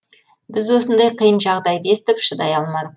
біз осындай қиын жағдайды естіп шыдай алмадық